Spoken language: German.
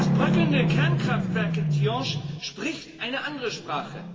Das bröckelnde Kernkraftwerk in Tihange spricht eine andere Sprache